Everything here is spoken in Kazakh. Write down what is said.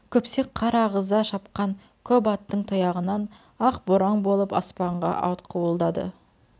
күпсек қар ағыза шапқан көп аттың тұяғынан ақ боран болып аспанға атқуылдады